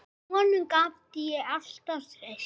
Honum gat ég alltaf treyst.